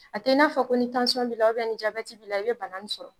A te n'a fɔ ko ni tansɔn b'ila ubɛn ni jabɛti b'ila i be bana ni sɔrɔ